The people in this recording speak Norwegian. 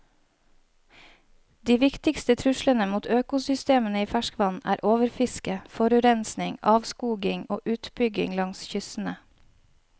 De viktigste truslene mot økosystemene i ferskvann er overfiske, forurensning, avskoging og utbygging langs kystene.